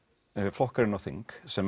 flokkar inn á þing sem